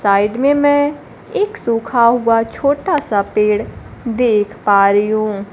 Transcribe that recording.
Side में मैं एक सूखा हुआ छोटा सा पेड़ देख पा रही हूं।